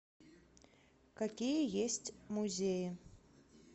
какие есть музеи